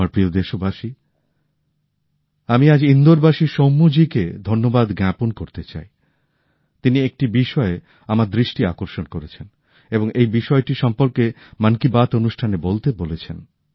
আমার প্রিয় দেশবাসী আমি আজ ইন্দোরবাসী সৌম্যাজিকে ধন্যবাদ জ্ঞাপন করতে চাই তিনি একটি বিষয়ে আমার দৃষ্টি আকর্ষণ করেছেন এবং এই বিষয়টা সম্পর্কে মন কি বাত অনুষ্ঠানে বলতে বলেছেন